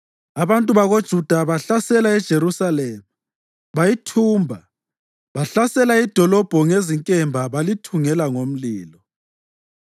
Abantu bakoJuda bahlasela leJerusalema bayithumba. Bahlasela idolobho ngezinkemba balithungela ngomlilo.